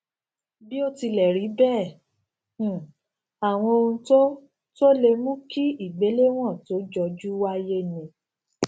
bí ó tilẹ rí bẹẹ um àwọn ohun tó tó lè mú kí igbelewon to joju wáyé ni